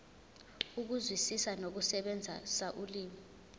ukuzwisisa nokusebenzisa ulimi